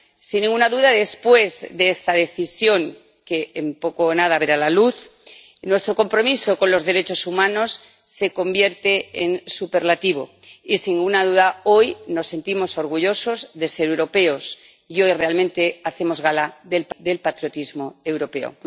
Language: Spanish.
Sin ninguna duda, después de esta decisión —que en poco o nada verá la luz—, nuestro compromiso con los derechos humanos se convierte en superlativo y, sin ninguna duda, hoy nos sentimos orgullosos de ser europeos y hoy realmente hacemos gala del patriotismo europeo.